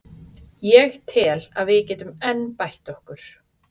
Ég tel að við getum enn bætt okkur.